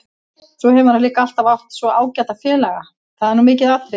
Svo hefur hann líka alltaf átt svo ágæta félaga, það er nú mikið atriði.